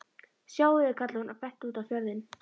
Sjáiði, kallaði hún og benti út á fjörðinn.